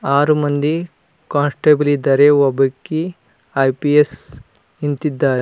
ಆರು ಮಂದಿ ಕಾನ್ಸ್ಟೇಬಲ್ ಇದ್ದಾರೆ ಒಬ್ಬಕಿ ಐ_ಪಿ_ಎಸ್ ನಿಂತಿದ್ದಾರೆ.